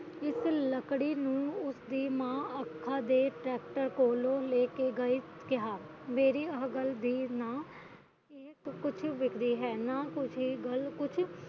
ਇਸ ਲਕੜੀ ਨੂੰ ਉਸ ਦੀ ਮਾਂ ਤੇ ਕੋਲੋ ਲੈ ਕਿ ਗਈ ਕਿਹਾ ਮੇਰੀ ਅਗਲਦੇ ਨਾਅ ਕੁਛ ਨਾ ਕੁਛ